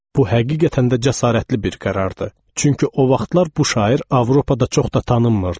Bu həqiqətən də cəsarətli bir qərardır, çünki o vaxtlar bu şair Avropada çox da tanınmırdı.